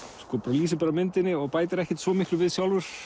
lýsir bara myndinni og bætir ekkert svo miklu við sjálfur